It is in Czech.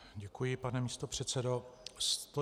Děkuji, pane místopředsedo.